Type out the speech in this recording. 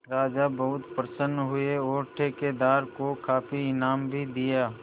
राजा बहुत प्रसन्न हुए और ठेकेदार को काफी इनाम भी दिया